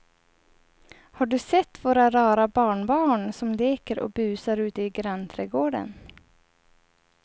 Har du sett våra rara barnbarn som leker och busar ute i grannträdgården!